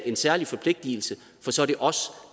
en særlig forpligtigelse for så er det os